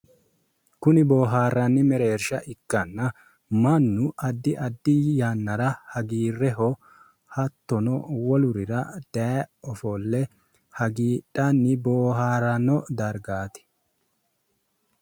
Kuni boohaarranni mereersha ikkanna mannu addi addi yannara hagiirreho hattono wolurira daye ofolle hagiidhanni booharanno dargaati.